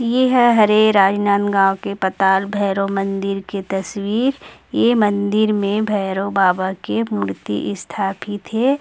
ये है हरे राजनांदगाव के पताल भैरव मन्दिर के तस्वीर ये मंदिर मै भैरव बाबा की मूर्ति स्थापित हे।